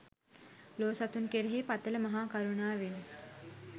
ලෝ සතුන් කෙරෙහි පතළ මහා කරුණාවෙන්